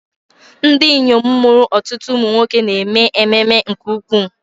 Ndị inyom mụrụ ọtụtụ ụmụ nwoke na-eme ememe nke ukwuu.